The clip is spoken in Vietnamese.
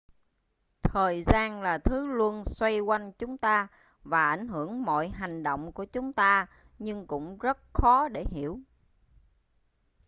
thời gian là thứ luôn xoay quanh chúng ta và ảnh hưởng mọi hành động của chúng ta nhưng cũng rất khó để hiểu